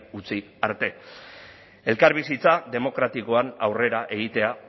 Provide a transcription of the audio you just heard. utzi arte elkarbizitza demokratikoan aurrera egitea